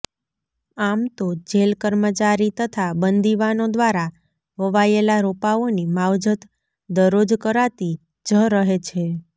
આમતો જેલ કર્મચારી તથા બંદીવાનો દ્વારા વવાયેલાં રોપાઓની માવજત દરરોજ કરાતી જ રહે છે